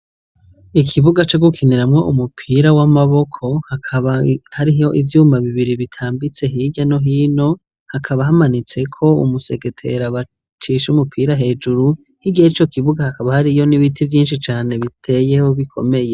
Ikibuga co gukiniramwo umupira w'amaboko hakaba hariho ivyuma bibiri bitambitse hirya no hino, hakaba hamanitseko umusegetera bacisha umupira hejuru, hirya yico kibuga hakaba hariyo n'ibiti vyinshi cane biteyeho bikomeye.